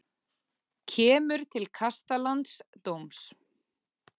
Kemur til kasta landsdóms